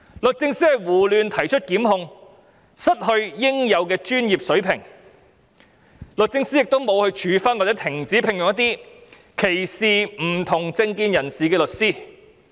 律政司胡亂提出檢控，失去應有的專業水平，律政司亦沒有處分或停止聘用一些歧視不同政見人士的律師。